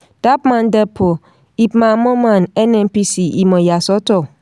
dappmandepot ipman moman nnpc ìmọ̀ àyàsọ́tọ̀.